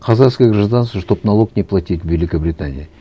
казахское гражданство чтобы налог не платить в великобритании